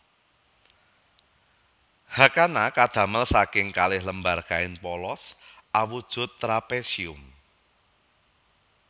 Hakama kadamel saking kalih lembar kain polos awujud trapesium